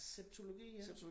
Septologi ja